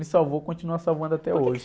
Me salvou, continua salvando até hoje.